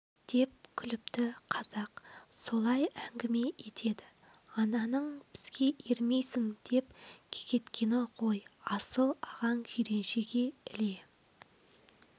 деп күліпті қазақ солай әңгіме етеді ананың бізге ермейсің деп кекеткені ғой асыл ағаң жиреншеге іле